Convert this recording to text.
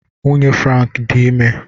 Nwunye Frank dị ime.